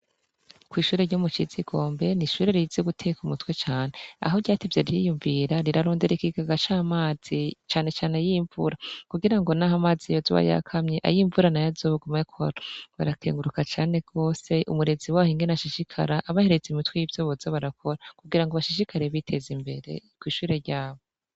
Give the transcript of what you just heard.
Kw'ishure ryumucizigombe n’ishure rizi guteka umutwe cane aho ryati ivye riyumvira rirarondereikigaga c'amazi canecane ayimvura kugira ngo, naho amazi yo z uwa yakamye ayimvurana yo azogumayo k barakenguruka cane rwose umurezi waho ingene ashishikara abahereze imitwe y'ivyo boza barakora kugira ngo bashishikare biteza imbere tw ishure ryabe.